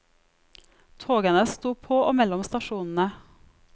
Togene sto på og mellom stasjonene.